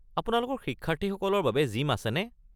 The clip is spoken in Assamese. আপোনালোকৰ শিক্ষাৰ্থীসকলৰ বাবে জিম আছেনে?